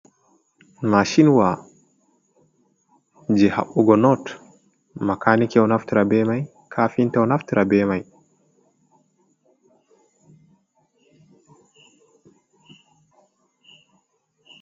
Mashinwa je haɓugo not makani ɗo naftira be mai, ka kafinta ɗo naftira be mai.